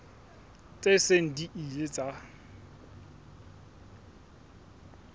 tse seng di ile tsa